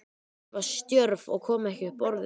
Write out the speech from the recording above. Ég var stjörf og kom ekki upp orði.